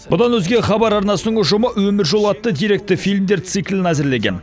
бұдан өзге хабар арнасының ұжымы өмір жолы атты деректі фильмдер циклін әзірлеген